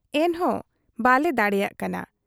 ᱮᱱᱦᱚᱸ ᱵᱟᱞᱮ ᱫᱟᱲᱮᱭᱟᱜ ᱠᱟᱱᱟ ᱾